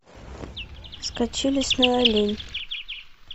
скачай лесной олень